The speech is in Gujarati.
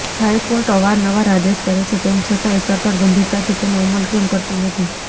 હાઇકોર્ટ અવારનવાર આદેશ કરે છે તેમ છતાંય સરકાર ગંભીરતાથી તેનો અમલ કેમ કરતી નથી